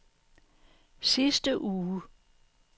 sidste uge